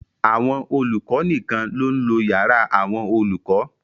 Àwọn olùkọ nìkan ló ń lo yàrá àwọn olùkọ.